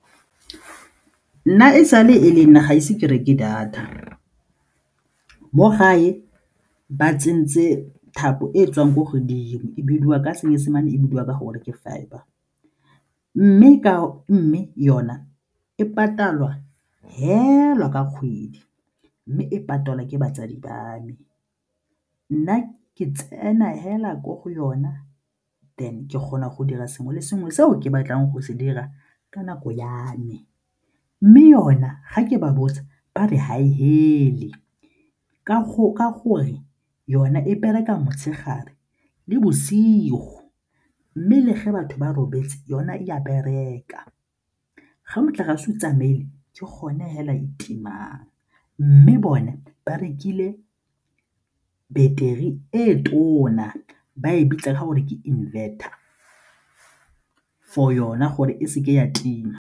Nna e sale e le nna ga ise ke reke data, mo gae ba tsentse thapo e e tswang ko godimo e bidiwa ka Seesimane e bidiwa ka gore ke fibre mme yona e patalwa fela ka kgwedi mme e patalwa ke batsadi ba me. Nna ke tsena fela mo go yona then ke kgona go dira sengwe le sengwe seo ke batlang go se dira ka nako ya me mme yona ga ke ba botsa ba re ga e fele, ka gore yona e bereka motshegare le bosigo mme le ge batho ba robetse yona e a bereka. Ga motlakase tsamaile ke gone fela e timang mme bone ba rekile battery e tona ba e bitsa ka gore ke inverter for yona gore e seke ya tima.